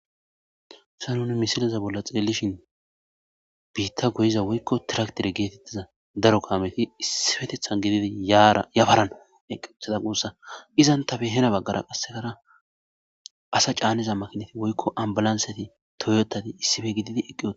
Haysa nuni misiliza bolla xeellishin biitta goyiza woykko tiraktire geetettiza daro kaameti issifetethan gididi yafarana eqethada guussa izan tabe hena baggara qassekara asa caanniza makinati woykko ambalansati toyotadi issife gididi eqqiy oa